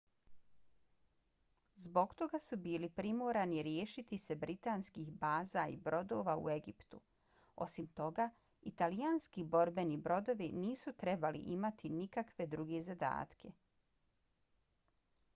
zbog toga su bili primorani riješiti se britanskih baza i brodova u egiptu. osim toga italijanski borbeni brodovi nisu trebali imati nikakve druge zadatke